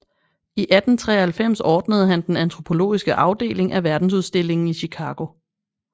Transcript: I 1893 ordnede han den antropologiske afdeling af Verdensudstillingen i Chicago